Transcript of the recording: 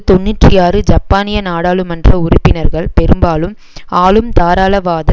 தொன்னூற்றி ஆறு ஜப்பானிய நாடாளுமன்ற உறுப்பினர்கள் பெரும்பாலும் ஆளும் தாராளவாத